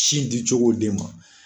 Sin di cogo den ma